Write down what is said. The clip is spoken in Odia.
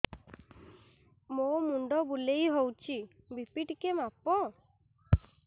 ମୋ ମୁଣ୍ଡ ବୁଲେଇ ହଉଚି ବି.ପି ଟିକେ ମାପ